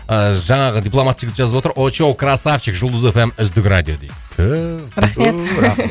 ыыы жаңағы дипломат жігіт жазып отыр очоу красавчик жұлдыз эф эм үздік радио дейді